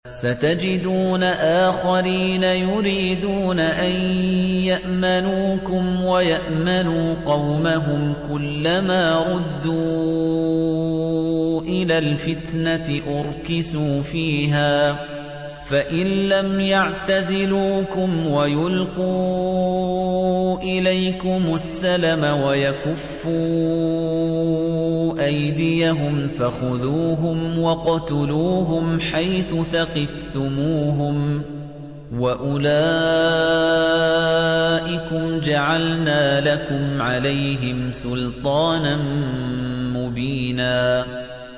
سَتَجِدُونَ آخَرِينَ يُرِيدُونَ أَن يَأْمَنُوكُمْ وَيَأْمَنُوا قَوْمَهُمْ كُلَّ مَا رُدُّوا إِلَى الْفِتْنَةِ أُرْكِسُوا فِيهَا ۚ فَإِن لَّمْ يَعْتَزِلُوكُمْ وَيُلْقُوا إِلَيْكُمُ السَّلَمَ وَيَكُفُّوا أَيْدِيَهُمْ فَخُذُوهُمْ وَاقْتُلُوهُمْ حَيْثُ ثَقِفْتُمُوهُمْ ۚ وَأُولَٰئِكُمْ جَعَلْنَا لَكُمْ عَلَيْهِمْ سُلْطَانًا مُّبِينًا